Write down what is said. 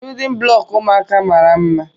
Biyudin bụlọku ụmụaka mara mma.